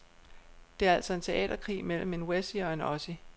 Det er altså en teaterkrig mellem en wessie og en ossie.